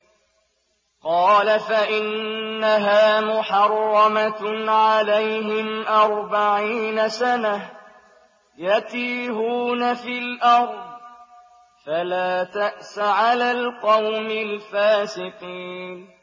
قَالَ فَإِنَّهَا مُحَرَّمَةٌ عَلَيْهِمْ ۛ أَرْبَعِينَ سَنَةً ۛ يَتِيهُونَ فِي الْأَرْضِ ۚ فَلَا تَأْسَ عَلَى الْقَوْمِ الْفَاسِقِينَ